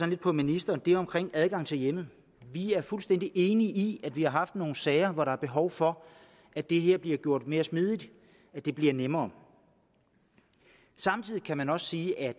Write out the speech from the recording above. lidt på ministeren er omkring adgang til hjemmet vi er fuldstændig enige i at vi har haft nogle sager hvor der er behov for at det her bliver gjort mere smidigt at det bliver nemmere samtidig kan man også sige at